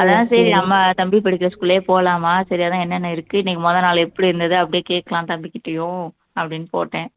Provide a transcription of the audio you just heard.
அதான் சரி நம்ம தம்பி படிக்கிற school லையே போலாமா சரி அதான் என்னென்ன இருக்கு இன்னைக்கு முதல் நாள் எப்படி இருந்தது அப்படியே கேட்கலாம் தம்பிகிட்டயும் அப்படின்னு போட்டேன்